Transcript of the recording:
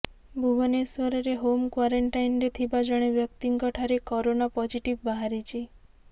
ଭୁବନେଶ୍ୱରରେ ହୋମ କ୍ୱାରେଣ୍ଟାଇନ୍ରେ ଥିବା ଜଣେ ବ୍ୟକ୍ତିଙ୍କ ଠାରେ କରୋନା ପଜିଟିଭ ବାହାରିଛି